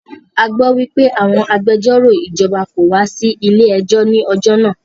A gbọ́ wípé àwọn agbẹjọ́rò ìjọba kò wá sí ilé ẹjọ́ ní ọjọ́ náà.